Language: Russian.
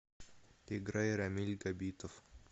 играй рамиль габитов